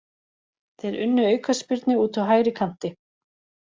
Þeir unnu aukaspyrnu úti á hægri kanti.